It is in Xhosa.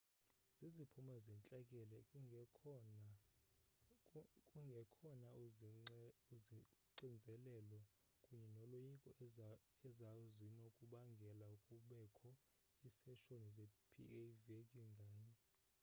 ziziphumo zentlekele kungekhona uxinzeleleko kunye noloyiko ezazinokubangela kubekho iiseshoni ze-pa veki nganye